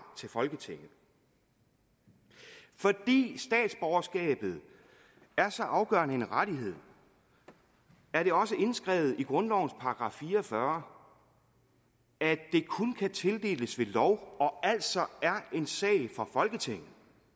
til folketinget fordi statsborgerskabet er så afgørende en rettighed er det også indskrevet i grundlovens § fire og fyrre at det kun kan tildeles ved lov og altså er en sag for folketinget